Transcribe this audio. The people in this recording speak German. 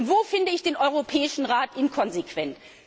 Wo finde ich den Europäischen Rat inkonsequent?